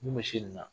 Mun bɛ misi nin na